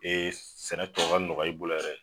sɛnɛ tɔ ka nɔgɔya i bolo yɛrɛ